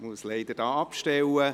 Ich musste da leider abstellen.